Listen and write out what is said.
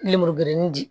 Lemuru gɛnɛn di